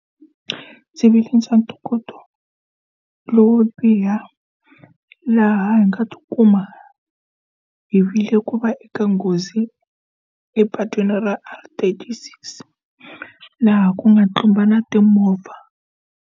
Ndzi ntokoto lowo biha laha hi nga ti kuma hi vile ku va eka nghozi epatwini ra R36 laha ku nga tlumbana timovha.